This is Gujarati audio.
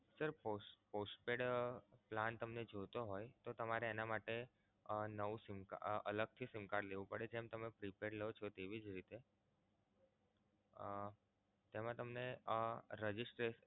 postpaid plan તમને જોતો હોય તો તમારે એના માટે આહ નવું sim card અલગથી sim card લેવું પડે છે જેમ તમે prepaid લો છો તેવી જ રીતે અમ તેમા તમને Registration